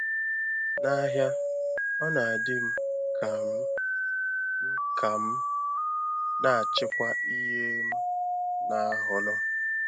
N’ahịa, ọ na-dị m ka m m ka m na-achịkwa ihe m na-ahọrọ.